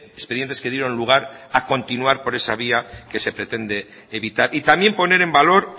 expedientes que dieron lugar a continuar por eso vía que se pretende evitar y también poner en valor